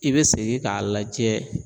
I bɛ segin k'a lajɛ